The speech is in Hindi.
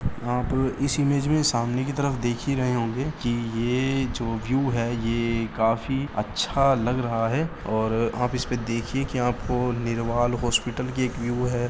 आप इस इमेज में सामने की तरफ देखी रहे होंगे कि ये जो व्यू है। ये काफी अच्छा लग रहा है और आप इसपे देखिए कि आपको निरवाल हॉस्पिटल की एक व्यू है।